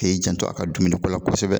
K'i janto a ka dumuni ko la kosɛbɛ.